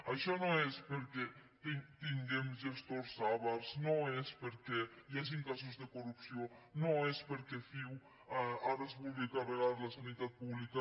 això no és perquè tinguem gestors avars no és perquè hi hagin casos de corrupció no és perquè ciu ara es vulgui carregar la sanitat pública